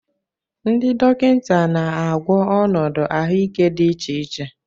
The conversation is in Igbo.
Ndị dọkịta na-agwọ ọnọdụ ahụike dị iche iche.